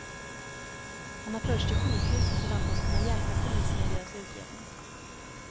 Han har förts till sjukhus och förväntas kunna hjälpa polisen i deras utredning.